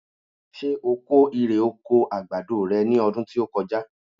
Ṣé o kó ire oko àgbàdo re ní ọdún tí ó kọjá?